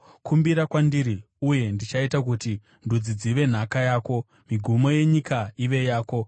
Kumbira kwandiri, uye ndichaita kuti ndudzi dzive nhaka yako, migumo yenyika ive yako.